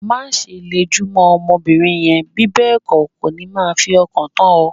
Má ṣe le jù mó ọmọ bìnrin rẹ, bí bẹ́ẹ̀ kó, kò ní máa fi ọkàn tán o.